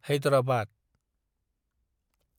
Hyderabad